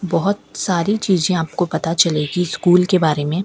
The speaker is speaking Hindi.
बहोत साारी चीजें आपको पता चलेगी स्कूल के बारे में।